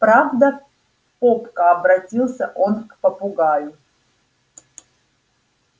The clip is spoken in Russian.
правда попка обратился он к попугаю